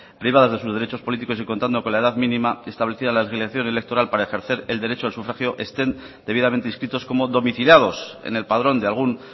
privadas de sus derechos políticos y contando con la edad mínima establecida en la legislación electoral para ejercer el derecho al sufragio estén debidamente inscritos como domiciliados en el padrón de algún